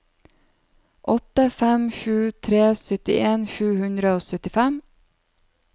åtte fem sju tre syttien sju hundre og syttifem